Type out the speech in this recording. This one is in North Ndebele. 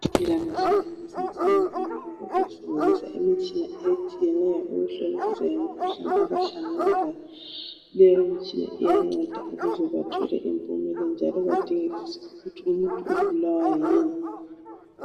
Abezempilakahle nxa besemsebenzini yabo basebenzisa imitshina etshiyeneyo ukuhlolisisa ngemikhuhlane abahlangana layo. Leyo mitshina iyanceda ukuze bathole impumela njalo badingidise ukuthi umuntu ubulawa yini.